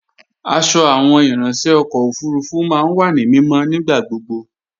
Aṣọ àwọn ìráńṣẹ́ ọkọ̀ òfurufú máa ń wà ní mímọ́ nígbà gbogbo